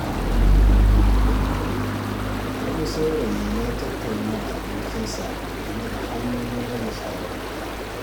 Wani saurayi ya yi tattaunawa da abokinsa game da hanyoyin rage sharar gida.